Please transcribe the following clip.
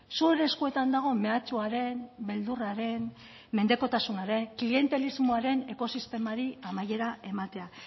zure eskuetan dago mehatxuaren beldurraren mendekotasunaren klientelismoaren ekosistemari amaiera ematea